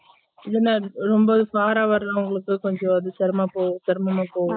இல்லன ரொம்ப far ஆ வரவங்களுக்கு கொஞ்சம் அது சேரம் செரமம்மா போகும்